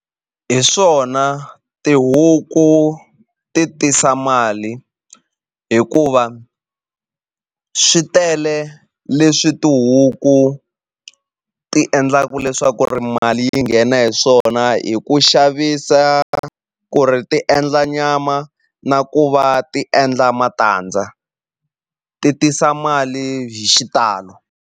Hi swona tihuku ti tisa mali hikuva swi tele leswi tihuku ti endlaku leswaku ri mali yi nghena hi swona hi ku xavisa ku ri ti endla nyama na ku va ti endla matandza ti tisa mali hi xitalo.